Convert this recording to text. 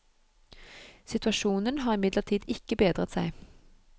Situasjonen har imidlertid ikke bedret seg.